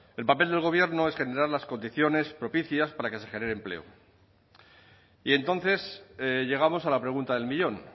el papel del gobierno es generar las condiciones propicias para que se genere empleo y entonces llegamos a la pregunta del millón